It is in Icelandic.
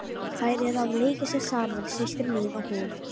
Þær eru að leika sér saman, systir mín og hún.